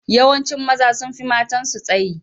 Yawancin maza sun fi matansu tsayi.